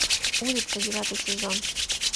улица девятый сезон